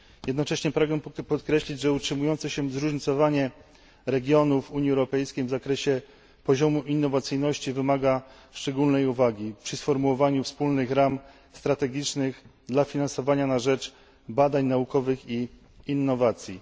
Jednocześnie pragnę podkreślić, że utrzymujące się zróżnicowanie regionów Unii Europejskiej w zakresie poziomu innowacyjności wymaga szczególnej uwagi przy sformułowaniu wspólnych ram strategicznych finansowania na rzecz badań naukowych i innowacji.